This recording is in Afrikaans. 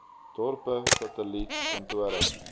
dorpe satelliet kantore